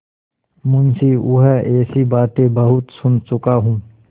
मुंशीऊँह ऐसी बातें बहुत सुन चुका हूँ